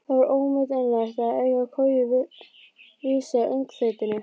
Það var ómetanlegt að eiga koju vísa í öngþveitinu.